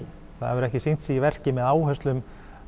það hefur ekki sýnt sig í verki með áherslum